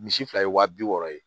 Misi fila ye waa bi wɔɔrɔ ye